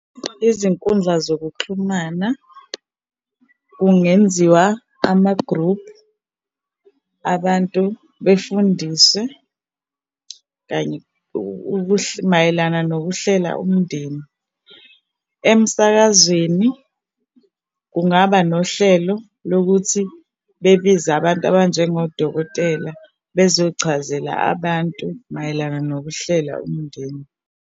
Izinkundla zokuxhumana kungenziwa ama-group abantu befundiswe kanye mayelana nokuhlela umndeni. Emsakazweni kungaba nohlelo lokuthi bebize abantu abanjengodokotela bezochazela abantu mayelana nokuhlela umndeni.